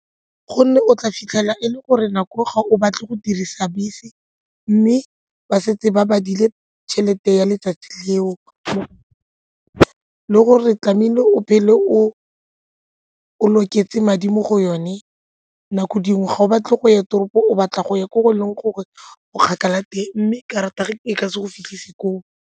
Gonne o tla fitlhela e le gore nako eo ga o batle go dirisa bese mme ba setse ba ba dile tšhelete ya letsatsi leo le gore tlamehile o phele o loketse madi mo go yone nako dingwe ga o batle go ya toropo o batla go ya ko o leng gore o kgakala teng mme karata eo e ka se go fitlhisa koo.